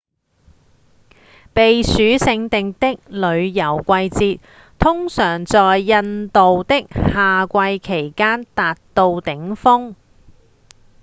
避暑勝地的旅遊季節通常在印度的夏季期間達到頂峰